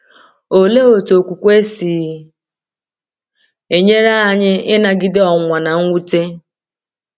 Olee otú okwukwe si enyere anyị ịnagide ọnwụnwa na mwute?